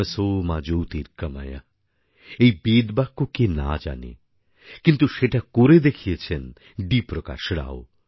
তমসো মা জ্যোতির্গময়ঃ এই বেদবাক্য কে না জানে কিন্তু সেটা করে দেখিয়েছেন ডি প্রকাশ রাও